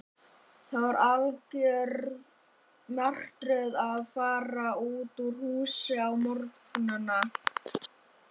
Það var algjör martröð að fara út úr húsinu á morgnana.